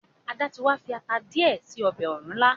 Ada tí wá fi atá diẹ sí ọbẹ òrúnlá.